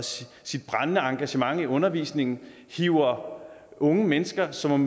brændende engagement i undervisningen hiver unge mennesker som